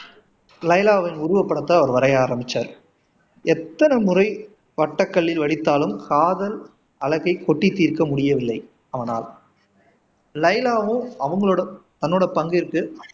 லைலாவின் உருவப்படத்தை அவரு வரைய ஆரம்பிச்சாரு எத்தனை முறை வட்டக்கல்லில் வடித்தாலும் காதல் அழகை கொட்டித் தீர்க்க முடியவில்லை அவனால் லைலாவும் அவங்களோட தன்னோட பங்குக்கு